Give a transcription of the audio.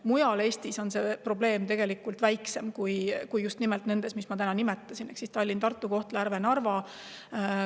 Mujal Eestis on see probleem väiksem kui nendes, mida ma just nimetasin, ehk Tallinnas, Tartus, Kohtla-Järvel ja Narvas.